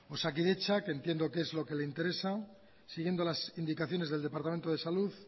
osakidetza que entiendo que es lo que le interesa siguiendo las indicaciones del departamento de salud